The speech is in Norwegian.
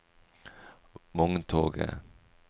vogntoget